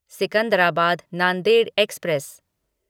Secunderabad Nanded express